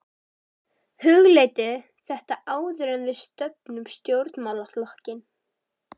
Hugleiddu þetta áður en við stofnum stjórnmálaflokkinn!